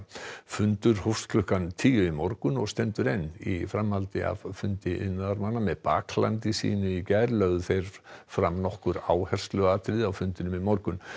fundur hófst klukkan tíu í morgun og stendur enn í framhaldi af fundi iðnaðarmanna með baklandi sínu í gær lögðu þeir fram nokkur áhersluatriði á fundinum í morgun